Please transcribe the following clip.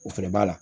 O fɛnɛ b'a la